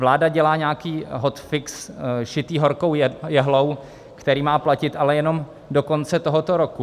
Vláda dělá nějaký hot fix šitý horkou jehlou, který má platit ale jenom do konce tohoto roku.